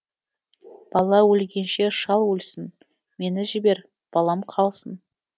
бала өлгенше шал өлсін мені жібер балам қалсын